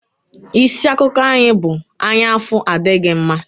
Isi akụkọ anyị bụ "Anyaụfụ adịghị mma"